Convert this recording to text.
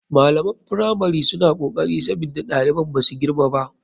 Malaman firamari suna kokari sabida ɗaliban basu girma ba.